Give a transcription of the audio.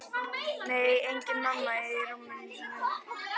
Nei, engin mamma í rúminu sínu.